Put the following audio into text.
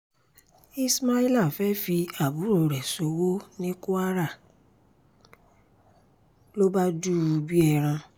ismaila fẹ́ẹ́ fi àbúrò rẹ̀ ṣòwò ní kwara ló bá dù ú bíi ẹran